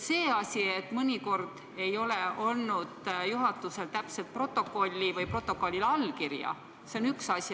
See, et mõnikord ei ole juhatusel olnud täpset protokolli või protokollil allkirja, see on üks asi.